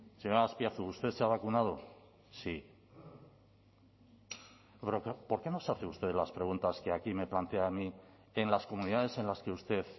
señor azpiazu usted se ha vacunado si por qué no se hace usted las preguntas que aquí me plantea a mí en las comunidades en las que usted